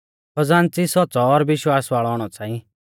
खज़ान्च़ी सौच़्च़ौ और विश्वास वाल़ौ औणौ च़ांई